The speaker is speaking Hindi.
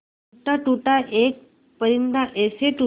टूटा टूटा एक परिंदा ऐसे टूटा